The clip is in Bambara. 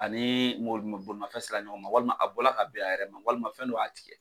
Ani moli bolimafɛn se la ɲɔgɔn ma walima a bɔ la ka ben a yɛrɛ ma walima fɛn dɔ y'a tigɛ.